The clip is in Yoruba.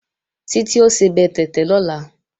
Títí ó sebẹ̀ tẹ̀tẹ̀ lọ́la